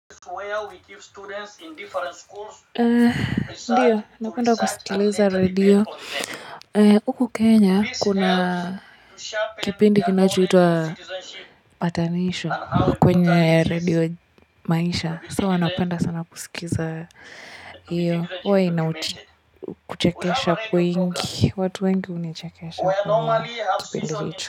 Ndiyo, napenda kusikiliza radio. Huku Kenya, kuna kipindi kinachoitwa patanisho kwenye radio maisha. So huwa napenda sana kusikiza hiyo. Huwa ina kuchekesha kwingi, watu wengi hunichekisha kwenye kipindi hicho.